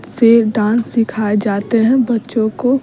से डांस सिखाए जाते हैं बच्चों को --